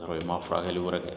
Yɔrɔ i ma furakɛli wɛrɛ kɛ